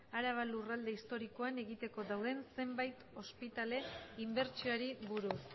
araban lurralde historikoan egiteko dauden zenbait ospitale inbertsioari buruz